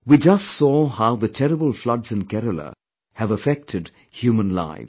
We just saw how the terrible floods in Kerala have affected human lives